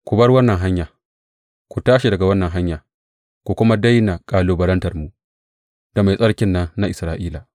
Ku bar wannan hanya, ku tashi daga wannan hanya, ku kuma daina kalubalantarmu da Mai Tsarkin nan na Isra’ila!